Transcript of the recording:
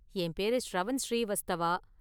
என் பேரு ஷ்ரவன் ஸ்ரீவஸ்தவா.